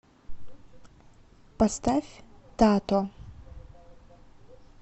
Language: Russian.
поставь тато